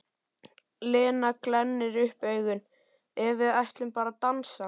Lena glennir upp augun: En við ætlum bara að dansa.